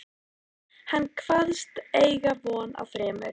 Hann kvaðst eiga von á þremur